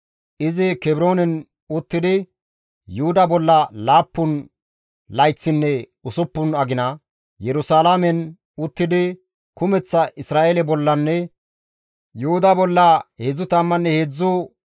Izi Kebroonen uttidi Yuhuda bolla laappun layththinne usuppun agina, Yerusalaamen uttidi kumeththa Isra7eele bollanne Yuhuda bolla 33 layth kawotides.